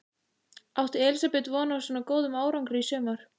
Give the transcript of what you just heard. Átti Elísabet von á svo góðum árangri í sumar?